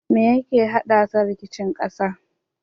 Me yake haddasa rikicin ƙasa?